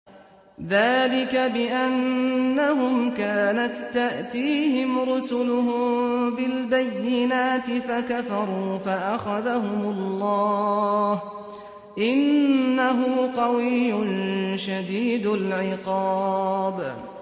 ذَٰلِكَ بِأَنَّهُمْ كَانَت تَّأْتِيهِمْ رُسُلُهُم بِالْبَيِّنَاتِ فَكَفَرُوا فَأَخَذَهُمُ اللَّهُ ۚ إِنَّهُ قَوِيٌّ شَدِيدُ الْعِقَابِ